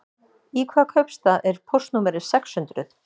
Í hvaða kaupstað er póstnúmerið sex hundruð?